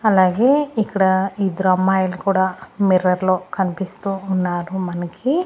అలాగే ఇక్కడ ఇద్దరు అమ్మాయిలు కూడా మిర్రర్ లో కనిపిస్తూ ఉన్నారు మనకి.